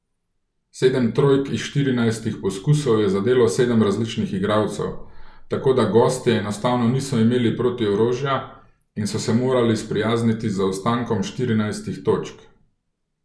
Sedem trojk iz štirinajstih poskusov je zadelo sedem različnih igralcev, tako da gostje enostavno niso imeli protiorožja in so se morali sprijazniti z zaostankom štirinajstih točk.